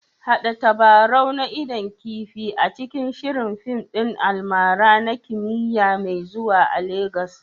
Haɗa tabarau na idon kifi a cikin shirin fim ɗin almara na kimiyya mai zuwa a Legas